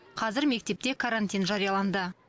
қазір мектепте карантин жарияланды